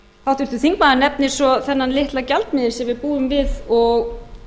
háttvirtur þingmaður nefnir svo þennan litla gjaldmiðil sem við búum við og